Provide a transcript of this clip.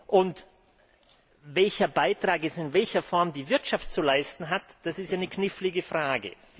Und welchen Beitrag jetzt in welcher Form die Wirtschaft zu leisten hat, das ist eine knifflige Frage.